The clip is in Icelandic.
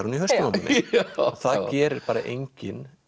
hún í hausnum á manni það gerir bara enginn